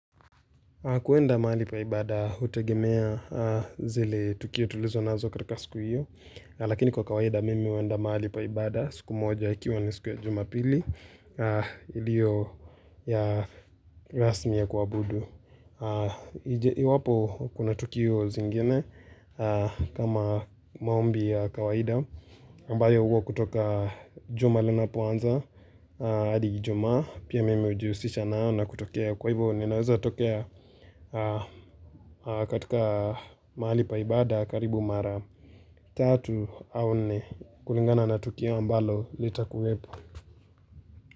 Kuenda mahali pa ibada hutegemea zile tukio tulizo nazo katika siku hiyo Lakini kwa kawaida mimi huenda mahali pa ibada siku moja ikiwa ni siku ya Jumapili ilio ya rasmi ya kuwa abudu Iwapo kuna tukio zingine kama maombi ya kawaida ambayo huwa kutoka juma linapoanza hadi Ijumaa pia mimi hujihusisha nao na kutokea. Kwa hivo ninaweza tokea katika mahali pa ibada karibu mara tatu au nne kulingana na tukio ambalo litakuwepo.